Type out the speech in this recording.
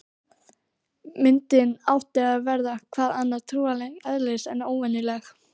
Myndin átti að verða- hvað annað- trúarlegs eðlis, en óvenjuleg.